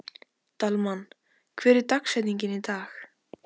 Dalmann, hver er dagsetningin í dag?